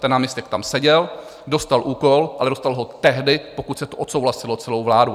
Ten náměstek tam seděl, dostal úkol, ale dostal ho tehdy, pokud se to odsouhlasilo celou vládou.